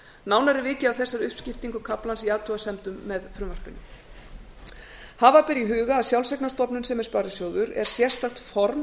nánar er vikið að þessari uppskiptingu kaflans í athugasemdum með frumvarpinu hafa ber í huga að sjálfseignarstofnun sem er sparisjóður er sérstakt form